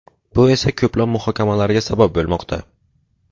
Bu esa ko‘plab muhokamalarga sabab bo‘lmoqda.